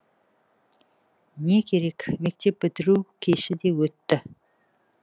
не керек мектеп бітіру кеші де өтті